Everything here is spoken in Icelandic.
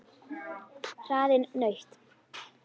Hraðinn nautn.